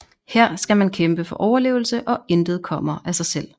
Her skal man kæmpe for overlevelse og intet kommer af sig selv